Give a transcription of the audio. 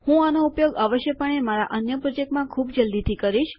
હું આનો ઉપયોગ અવશ્યપણે મારા અન્ય પ્રોજેક્ટમાં ખૂબ જલ્દીથી કરીશ